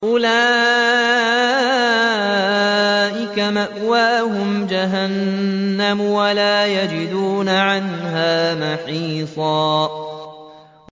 أُولَٰئِكَ مَأْوَاهُمْ جَهَنَّمُ وَلَا يَجِدُونَ عَنْهَا مَحِيصًا